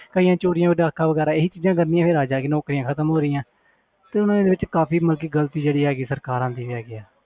ਕਈਆਂ ਚੋਰੀਆਂ ਡਾਕਾ ਵਗ਼ੈਰਾ ਇਹੀ ਚੀਜ਼ਾਂ ਕਰਨੀਆਂ ਫਿਰ ਆ ਜਾ ਕੇ ਨੌਕਰੀਆਂ ਖ਼ਤਮ ਹੋ ਰਹੀਆਂ ਤੇ ਉਹਨਾਂ ਦੇ ਵਿੱਚ ਕਾਫ਼ੀ ਮਤਲਬ ਕਿ ਗ਼ਲਤੀ ਜਿਹੜੀ ਹੈਗੀ ਸਰਕਾਰਾਂ ਦੀ ਹੈਗੀ ਹੈ